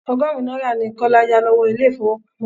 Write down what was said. Ọgọ́rùn-ún náírà ni Kọ́lá yà lọ́wọ́ ilé ifowopamo.